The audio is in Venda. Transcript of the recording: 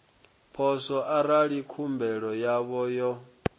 poswo arali khumbelo yavho yo